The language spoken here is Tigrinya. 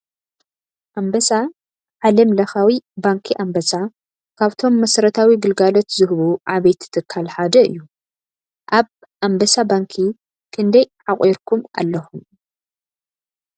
ኣንበሳ ዓለም ለኻዊ ባናኪ ኣንበሳ ካብቶም መሰዩታዊ ግልጋሎት ዝህቡ ዓበይቲ ትካል ሓደ እየ:: ኣብ ኣንበሳ ባንኪ ክንዳይ ዓቋርብካኩም ኣለኩም ?